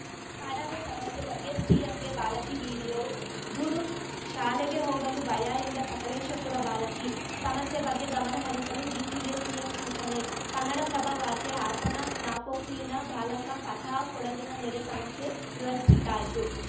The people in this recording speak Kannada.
ಕಾಡಾನೆ ಸಮಸ್ಯೆ ಬಗ್ಗೆ ಸಿಎಂಗೆ ಬಾಲಕಿ ವಿಡಿಯೋ ದೂರು ಶಾಲೆಗೆ ಹೋಗಲು ಭಯ ಎಂದ ಸಕಲೇಶಪುರ ಬಾಲಕಿ ಸಮಸ್ಯೆ ಬಗ್ಗೆ ಗಮನಹರಿಸಲು ಡೀಸಿಗೆ ಸಿಎಂ ಸೂಚನೆ ಕನ್ನಡಪ್ರಭ ವಾರ್ತೆ ಹಾಸನ ನಾಪೋಕ್ಲಿನ ಬಾಲಕ ಫತಾಹ್‌ ಕೊಡಗಿನ ನೆರೆ ಸಮಸ್ಯೆ ವಿವರಿಸಿದ್ದಾಯ್ತು